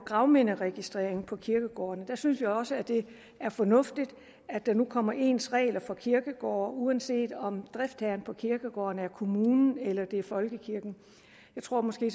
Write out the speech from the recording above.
gravminderegistrering på kirkegårdene synes vi også det er fornuftigt at der nu kommer ens regler for kirkegårde uanset om driftherren på kirkegården er kommunen eller folkekirken jeg tror måske